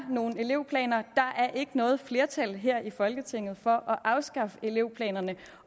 nogle elevplaner der er ikke noget flertal her i folketinget for at afskaffe elevplanerne